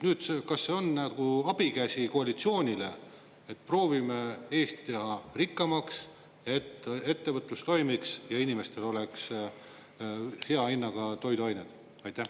Nüüd, kas see on nagu abikäsi koalitsioonile, et proovime Eesti teha rikkamaks, et ettevõtlus toimiks ja inimestel oleks hea hinnaga toiduained?